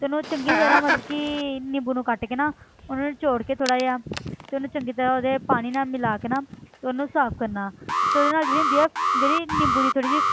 ਤੇ ਉਹਨੂੰ ਚੰਗੀ ਤਰ੍ਹਾਂ ਮਤਲਬ ਕਿ ਨਿੰਬੂ ਨੂੰ ਕੱਟ ਕੇ ਨਾ ਉਹਨੂੰ ਨਿਚੌੜ ਕੇ ਥੋੜ੍ਹਾ ਜਿਹਾ ਤੇ ਉਹਨੂੰ ਚੰਗੀ ਤਰ੍ਹਾਂ ਉਹਦੇ ਪਾਣੀ ਨਾਲ ਮਿਲਾ ਕੇ ਨਾ ਤੇ ਉਹਨੂੰ ਸਾਫ਼ ਕਰਨਾ ਤੇ ਉਹਦੇ ਨਾਲ ਜਿਹੜੀ ਹੁੰਦੀ ਆ ਜਿਹੜੀ ਨਿੰਬੂ ਦੀ ਥੋੜ੍ਹੀ ਜਿਹੀ